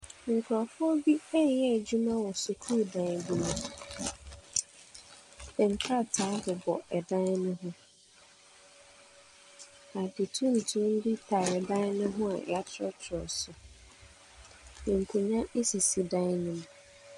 Nkurɔfo bi ɛreyɛ adwuma wɔ sukuudan bi mu, nkrataa bobɔ dan ho, na ade tuntum tare dan ne ho a yɛatwerɛtwerɛ so. Nkonnwa sisi dan ne mu.